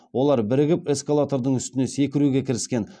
олар бірігіп эскалатордың үстінде секіруге кіріскен